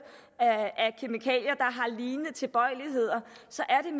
af lignende tilbøjeligheder så